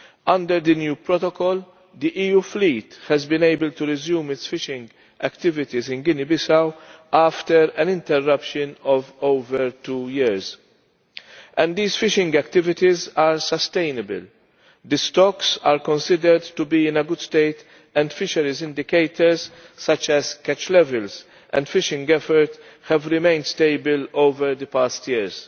Under the new protocol, the EU fleet has been able to resume its fishing activities in Guinea Bissau after an interruption of over two years, and these fishing activities are sustainable the stocks are considered to be in a good state and fisheries indicators such as catch levels and fishing effort have remained stable over the past years.